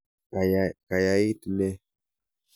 Kayait nee?